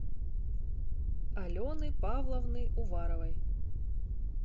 алены павловны уваровой